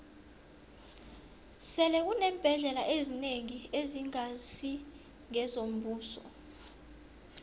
sele kuneembhendlela ezinengi ezingasi ngezombuso